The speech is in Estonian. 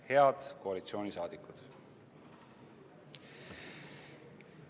Head koalitsiooni liikmed!